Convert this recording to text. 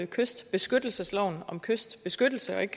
kystbeskyttelsesloven om kystbeskyttelse og ikke